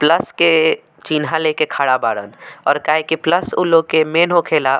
Plus के चीन्हा लेके खाड़ा बाड़न और काहे की प्लस उ लोग मैन होखेला।